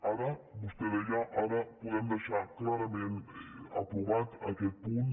ara vostè ho deia ara podem dei·xar clarament aprovat aquest punt